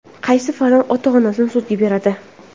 Qaysi farzand ota-onasini sudga beradi?